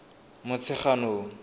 motsheganong